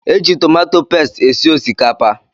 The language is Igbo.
Eji tomato pesti esi osikapa